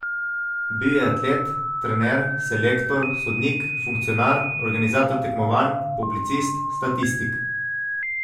Bil je atlet, trener, selektor, sodnik, funkcionar, organizator tekmovanj, publicist, statistik.